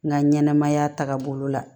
N ka ɲɛnɛmaya tagabolo la